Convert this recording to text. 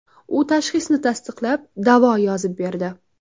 U tashxisni tasdiqlab, davo yozib berdi.